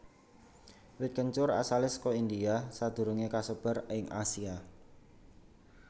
Wit kencur asalé saka India sadurungé kasebar ing Asia